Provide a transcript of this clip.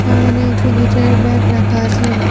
সামোনে একটি গিটারের ব্যাগ রাখা আছে।